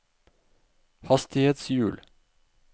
hastighetshjul